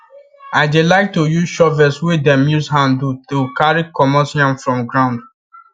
i dey like to use shovels wey dem use hand do to carry comot yam from ground